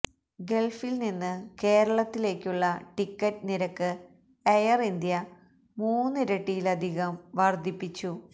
ഗള്ഫില് നിന്ന് കേരളത്തിലേക്കുള്ള ടിക്കറ്റ് നിരക്ക് എയര് ഇന്ത്യ മൂന്നിരട്ടിയിലധികം വര്ധിപ്പിച്ചു